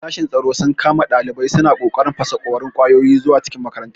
Sashen tsaro sun kama ɗalibai suna ƙoƙarin fasaƙorin ƙwayoyi zuwa cikin makarantar.